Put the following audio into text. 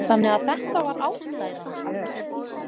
Þannig að þetta var ástæðan?